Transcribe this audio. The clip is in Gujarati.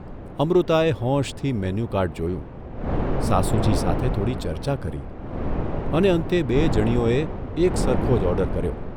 અમૃતાએ હોંશથી મેનુકાર્ડ જોયું, સાસુજી સાથે થોડી ચર્ચા કરી અને અંતે બેય જણીઓએ એક સરખો જ ઓર્ડર કર્યો.